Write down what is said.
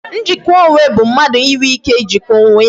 Njikwa onwe bụ mmadụ inwe ike Ijikwa onwe ya